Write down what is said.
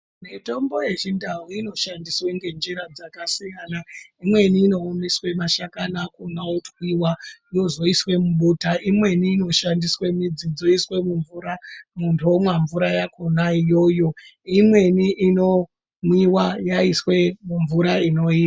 Mitombo yechindau inoshandiswe ngenzira dzkasiyana imweni inoumbiswe mashakani akhona otwiwa yozoiswe mubota imweni inoshandiswe midsi dzoiswe mumvura muntu omwa mvura iyoyo imweni Inomwiwa yaiswe mumvura inoira.